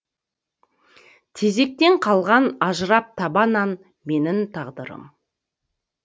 тезектен қалған ажыраптаба нан менің тағдырым